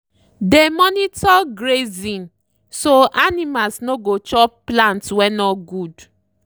dey monitor grazing so animals no go chop plants wey no good.